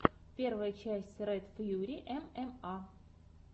первая часть ред фьюри эмэма